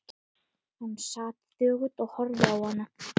Hann sat þögull og horfði á ána.